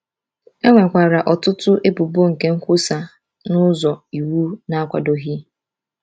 E nwekwara ọtụtụ ebubo nke nkwusa n’ụzọ iwu na-akwadoghị.